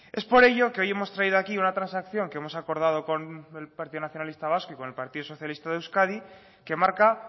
es por ello que hoy hemos traído aquí una transacción que hemos acordado con el partido nacionalista vasco y con el partido socialista de euskadi que marca